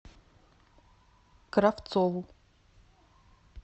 кравцову